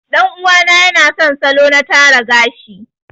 Ɗan uwa na yana son salo na tara gashi.